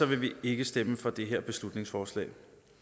vi ikke stemme for det her beslutningsforslag